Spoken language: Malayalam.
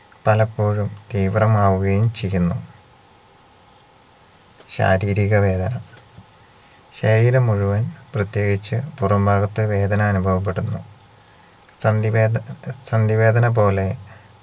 പലപ്പോഴും തീവ്രമാവുകയും ചെയ്യുന്നു ശാരീരിക വേദന ശരീരം മുഴുവൻ പ്രത്യേകിച്ച് പുറം ഭാഗത്ത് വേദന അനുഭവപ്പെടുന്നു സന്ധിവേദ സന്ധിവേദനപോലെ